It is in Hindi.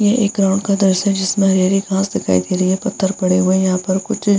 यह एक ग्राउंड का दृश्य है जिसमें हरी-हरी घास दिखाई दे रही है पत्थर पड़े हुए है यहाँ पर कुछ --